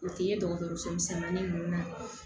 O tɛ ye dɔgɔtɔrɔso misɛnin ninnu na